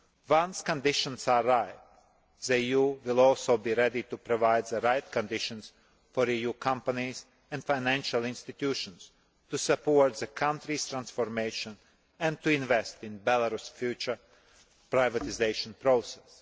Once conditions are ripe, the EU will also be ready to provide the right conditions for EU companies and financial institutions to support the country's transformation and to invest in Belarus's future privatisation process.